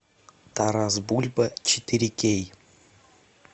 тарас бульба четыре кей